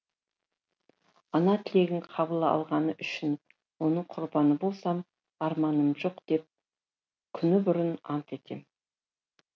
ана тілегін қабыл алғаны үшін оның құрбаны болсам арманым жоқ деп күні бұрын ант етем